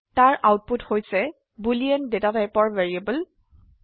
তাৰ আউটপুট হৈছে boolean data টাইপেৰ ভ্যাৰিয়েবল